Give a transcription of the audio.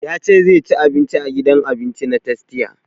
Ya ce zai ci abinci a gidan abinci na tastia